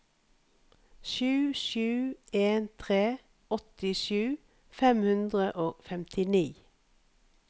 sju sju en tre åttisju fem hundre og femtini